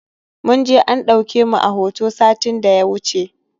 Mun je an ɗauke mu a hoto satin da ya wuce